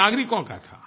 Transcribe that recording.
ये नागरिकों का था